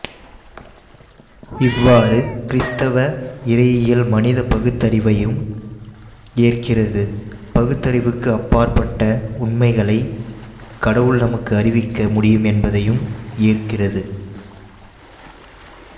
இவ்வாறு கிறித்தவ இறையியல் மனித பகுத்தறிவையும் ஏற்கிறது பகுத்தறிவுக்கு அப்பாற்பட்ட உண்மைகளைக் கடவுள் நமக்கு அறிவிக்க முடியும் என்பதையும் ஏற்கிறது